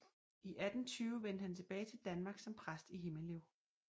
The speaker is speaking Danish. I 1820 vendte han tilbage til Danmark som præst i Himmelev